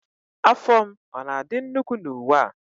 Afọ m ọ na-adị nnukwu na uwe a?